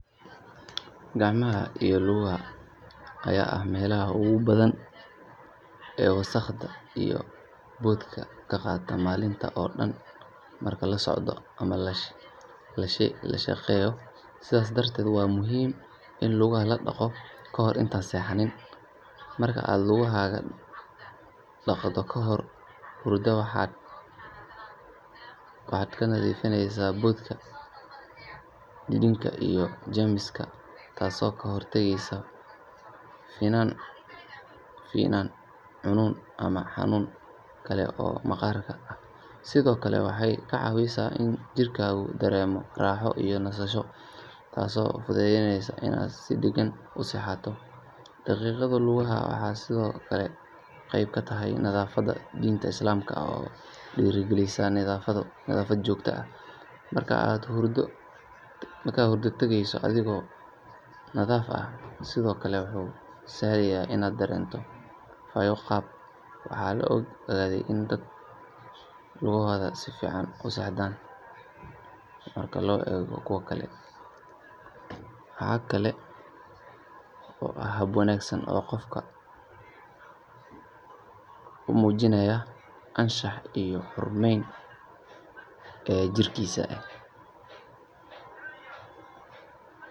Gacmaha iyo lugaha ayaa ah meelaha ugu badan ee wasakhda iyo boodhka ka qaata maalintii oo dhan marka la socdo ama la shaqeeyo sidaas darteed waa muhiim in lugaha la dhaqo kahor intaadan seexan. Marka aad lugahaaga dhaqdo kahor hurdada waxaad ka nadiifinaysaa boodhka, dhididka iyo jeermiska taasoo ka hortagaysa finan, cuncun ama xanuun kale oo maqaarka ah. Sidoo kale waxay kaa caawisaa in jidhkaagu dareemo raaxo iyo nasasho taasoo fududaynaysa inaad si degan u seexato. Dhaqidda lugaha waxay sidoo kale qayb ka tahay nadaafadda diinta islaamka oo dhiirrigelisa nadiifnimo joogto ah. Marka aad hurdo tagayso adigoo nadiif ah waxay sidoo kale kuu sahlaysaa inaad dareento fayo-qab. Waxaa la ogaaday in dadka dhaqaa lugahooda ay si fiican u seexdaan marka loo eego kuwa kale. Waxaa kaloo ah hab wanaagsan oo qofka u muujinaya anshax iyo xurmeyn jirkiisa.